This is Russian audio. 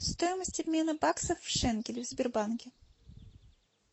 стоимость обмена баксов в шекели в сбербанке